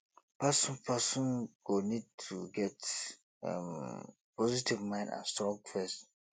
person person go need to get um positive mind and strong faith